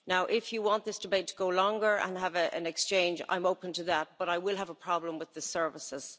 If you want this debate to go on longer and have an exchange, I am open to that but I will have a problem with the services.